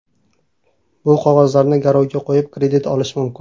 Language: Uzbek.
Bu qog‘ozlarni garovga qo‘yib, kredit olish mumkin.